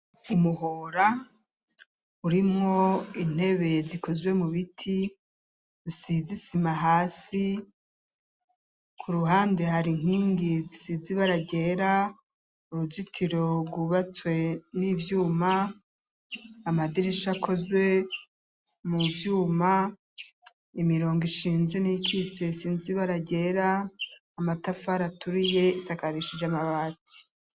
Umuhora urimwo intebe zikozwe mu biti, rusize isima hasi ku ruhande hari inkingi zisize ibara ryera, uruzitiro rwubatswe n'ivyuma, amadirisha akozwe mu vyuma, imirongo ishinze n'iyikitse isize ibara ryera, amatafari aturiye, isakarishije amabati.